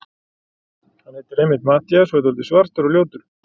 Hann heitir einmitt Matthías og er svona dáldið svartur og ljótur.